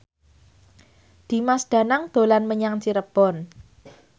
Dimas Danang dolan menyang Cirebon